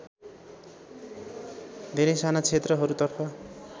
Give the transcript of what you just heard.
धेरै साना क्षेत्रहरूतर्फ